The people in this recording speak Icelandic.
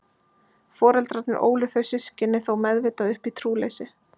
Foreldrarnir ólu þau systkini þó meðvitað upp í trúleysi.